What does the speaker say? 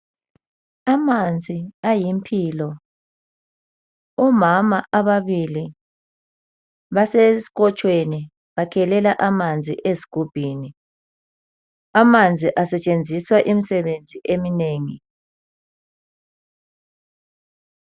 Amanzi ayimpilo. Omama ababili basesikotshweni bakhelela amanzi ezigubhini. Amanzi asetshenziswa imisebenzi eminengi.